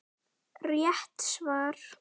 Rétt svar!